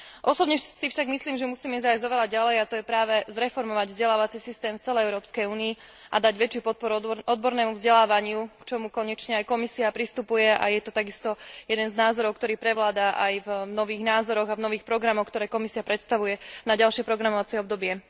Osobne si však myslím, že musíme zájsť oveľa ďalej, a to práve zreformovať vzdelávací systém v celej Európskej únii a dať väčšiu podporu odbornému vzdelávaniu, k čomu konečne pristupuje aj Komisia. Je to takisto jeden z názorov, ktorý prevláda aj v nových názoroch a nových programoch, ktoré Komisia predkladá na ďalšie programovacie obdobie.